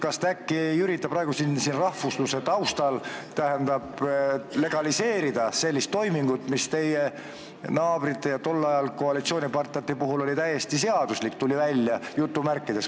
Kas te äkki ei ürita siin praegu rahvusluse sildi all legaliseerida sellist toimingut, mis teie tolleaegsete koalitsioonipartnerite puhul oli justkui täiesti seaduslik?